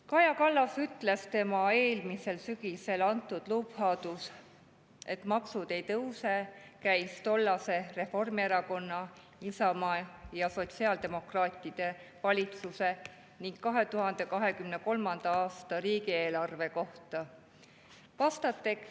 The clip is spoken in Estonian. Kaja Kallas ütles, et tema eelmisel sügisel antud lubadus "Maksud ei tõuse" käis tollase Reformierakonna, Isamaa ja sotsiaaldemokraatide valitsuse ning 2023. aasta riigieelarve kohta.